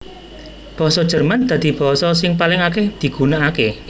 Basa Jerman dadi basa sing paling akèh digunakaké